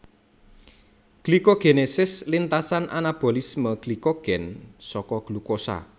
Glikogenesis lintasan anabolisme glikogen saka glukosa